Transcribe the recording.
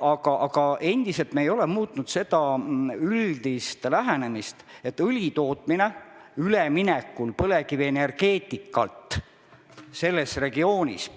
Aga me ei ole muutnud üldist lähenemist, et õli tootmine üleminekul põlevkivienergeetikalt aitab selles regioonis